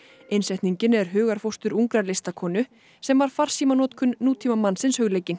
innsetningin er hugarfóstur ungar listakonu sem var farsímanotkun nútímamannsins hugleikin